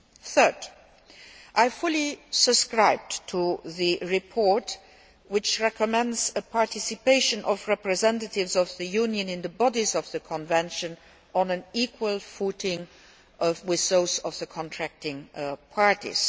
Thirdly, I fully subscribe to the report which recommends participation by representatives of the Union in the bodies of the convention on an equal footing with those of the contracting parties.